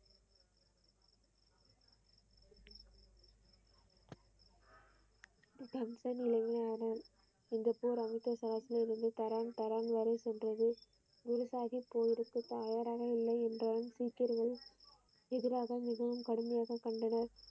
கம்சன் நிலையிலானான் இந்த போர் அமுத்த சரசிலிருந்து தரான் வரை சென்றது குருசாகி போருக்கு தயாராக இல்லை என்றால் சீக்கியர்கள் எதிராக மிகவும் கடுமையாக கண்டனர்.